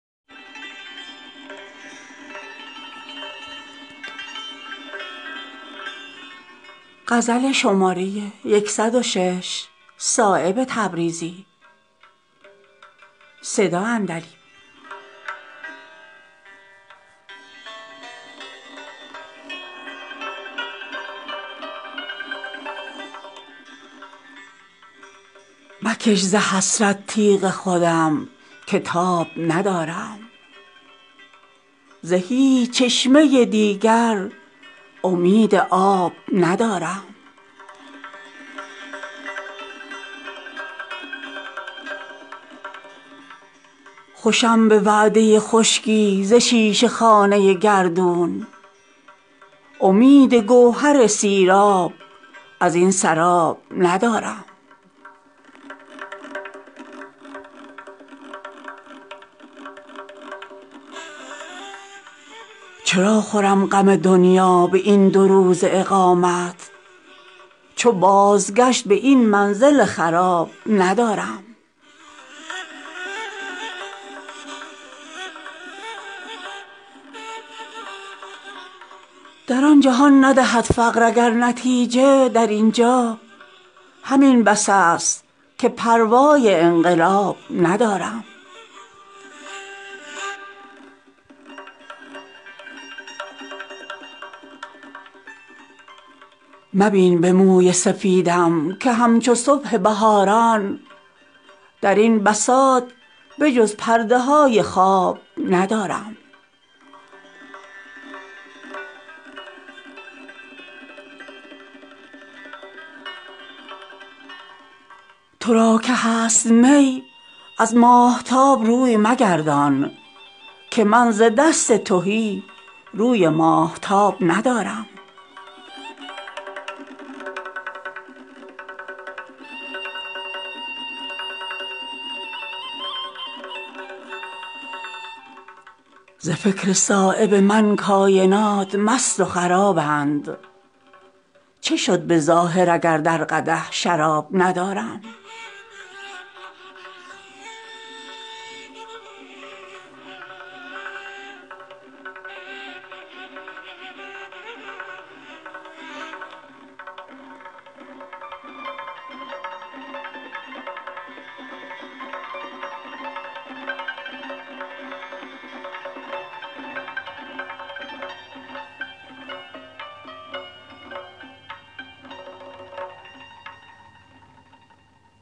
مکش ز حسرت تیغ خودم که تاب ندارم ز هیچ چشمه دیگر امید آب ندارم بغیر دل که به دست خداست بست و گشادش دگر امید گشایش ز هیچ باب ندارم خوشم به وعده خشکی ز شیشه خانه گردون امید گوهر سیراب ازین سراب ندارم درین محیط که بی لنگرست باد مخالف بغیر کسب هوا کار چون حباب ندارم چرا خورم غم دنیا به این دوروزه اقامت چو بازگشت این منزل خراب ندارم در آن جهان ندهد فقر اگر نتیجه در اینجا همین بس است که پروای انقلاب ندارم دلیل قطع امیدست آرمیدگی من ز نارسایی این رشته پیچ و تاب ندارم مبین به موی سفیدم که همچو صبح بهاران درین بساط به جز پرده های خواب ندارم ترا که هست می ازماهتاب روی مگردان که من زدست تهی روی ماهتاب ندارم درین ریاض من آن شبنم سیاه گلیمم که روی گرم توقع ز آفتاب ندارم مرا ز روز حساب ای نفس دراز مترسان که خود حسابم و اندیشه حساب ندارم مساز روی ترش از نگاه بی غرض من که همچو نامه بی مطلبان جواب ندارم ز فکر صایب من کاینات مست و خرابند چه شد به ظاهر اگر در قدح شراب ندارم